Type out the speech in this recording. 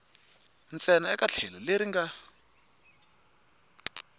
ntsena eka tlhelo leri nga